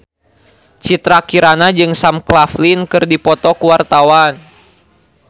Citra Kirana jeung Sam Claflin keur dipoto ku wartawan